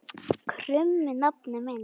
krummi nafni minn.